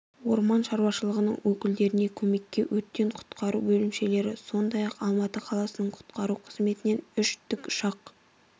орман шаруашылығының өкілдеріне көмекке өрттен құтқару бөлімшелері сондай-ақ алматы қаласының құтқару қызметінен үш тікұшақ